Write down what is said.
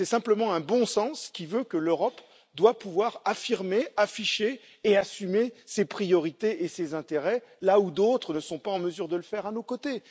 C'est simplement un bon sens qui veut que l'Europe doit pouvoir affirmer, afficher et assumer ses priorités et ses intérêts là où d'autres ne sont pas en mesure de le faire à nos côtés.